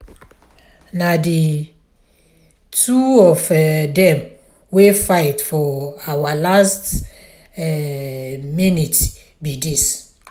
na the two of um them wey fight for our last um minute be dis